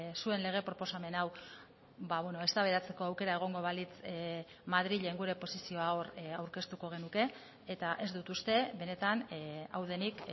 zuen lege proposamen hau eztabaidatzeko aukera egongo balitz madrilen gure posizioa hor aurkeztuko genuke eta ez dut uste benetan hau denik